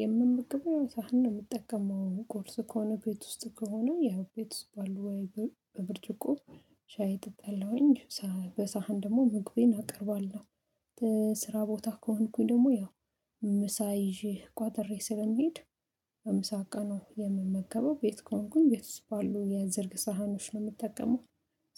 የምምገበው ሳህን የምጠቀመው ቁርስ ከሆነ ቤት ውስጥ ከሆነ ያው ቤት ውስጥ ባሉ ወይ ሻይ ጠጣለሁኝ በሳህን ደግሞ ምግብ እናቀርባለን። ስራ ቦታ ከሆንኩኝ ደግሞ ያው ምሳ ይዤ ቋተሬ ስለሚሄድ ምሳቃ ነው የምመገበው ቤት ከሆንኩኝ ቤት ውስጥ ባሉ የዘርግ ሳህኖች ነው የምጠቀመው።